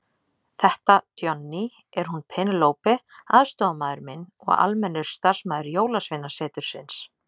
Þetta Johnny, er hún Penélope aðstoðarmaður minn og almennur starfsmaður Jólasveinasetursins.